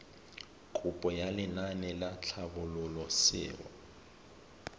kopo ya lenaane la tlhabololosewa